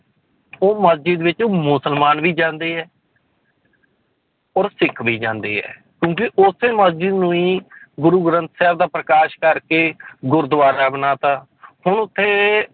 ਉਹ ਮਸਜਿਦ ਵਿੱਚ ਮੁਸਲਮਾਨ ਵੀ ਜਾਂਦੇ ਹੈ ਔਰ ਸਿੱਖ ਵੀ ਜਾਂਦੇ ਹੈ ਕਿਉਂਕਿ ਉਸੇ ਮਸਜਿਦ ਨੂੰ ਹੀ ਗੁਰੁ ਗ੍ਰੰਥ ਸਾਹਿਬ ਦਾ ਪ੍ਰਕਾਸ ਕਰਕੇ ਗੁਰਦੁਆਰਾ ਬਣਾ ਦਿੱਤਾ ਹੁਣ ਉੱਥੇ